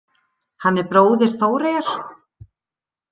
Hann er bróðir Þóreyjar.